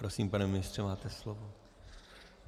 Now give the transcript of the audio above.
Prosím, pane ministře, máte slovo.